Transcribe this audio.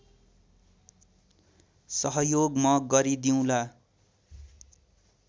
सहयोग म गरिदिउँला